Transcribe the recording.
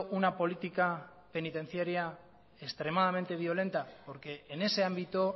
una política penitenciaria extremadamente violenta porque en ese ámbito